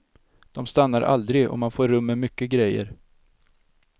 De stannar aldrig och man får rum med mycket grejer.